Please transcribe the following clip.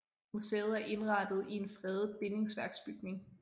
Museet er indrettet i en fredet bindingsværksbygning